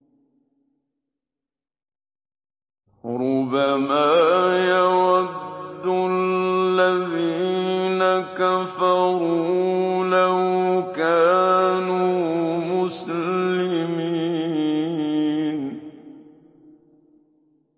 رُّبَمَا يَوَدُّ الَّذِينَ كَفَرُوا لَوْ كَانُوا مُسْلِمِينَ